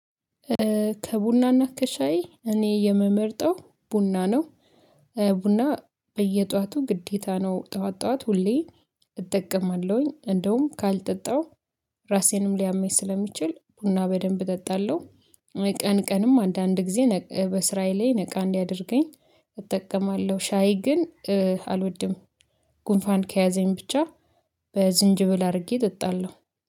ከቡናና ከሻይ እኔ የምመርጠው ቡና ነው። ቡና በየጧቱ ግዴታ ነው ጧት ጧት ሁሌ እጠቀማለሁኝ እንደውም ካልጠጣሁ ራሴንም ሊያመኝ ስለሚችል ቡና በደንብ እጠጣለሁ። ቀን ቀንም አንዳንድ ጊዜ በስራዬ ላይ ነቃ እንዲያደርገኝ እጠቀማለሁ። ሻይ ግን አልወድም። ጉንፋን ከያዘኝ ብቻ በዝንጅብል አድርጌ እጠጣለሁ